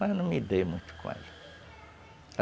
Mas eu não me dei muito com ela.